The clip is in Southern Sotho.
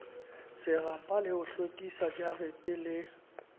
serapa le ho hlwekisajarete le